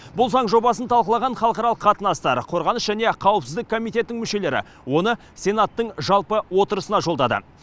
бұл заң жобасын талқылаған халықаралық қатынастар қорғаныс және қауіпсіздік комитетінің мүшелері оны сенаттың жалпы отырысына жолдады